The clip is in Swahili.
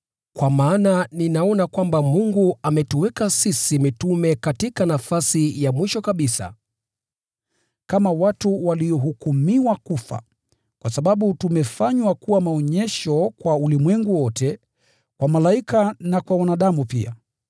Kwa maana ninaona kwamba Mungu ametuweka sisi mitume katika nafasi ya mwisho kabisa, kama watu waliohukumiwa kufa kwenye uwanja wa tamasha, kwa sababu tumefanywa kuwa maonyesho kwa ulimwengu wote, kwa malaika na kwa wanadamu pia.